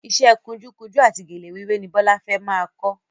Iṣẹ́ kunjú kunjú àti gèlè wíwé ni Bọ́lá fẹ́ máa kọ́